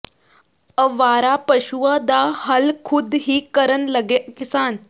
ਅਵਾਰਾ ਪਸ਼ੂਆਂ ਦਾ ਹੱਲ ਖੁਦ ਹੀ ਕਰਨ ਲੱਗੇ ਕਿਸਾਨ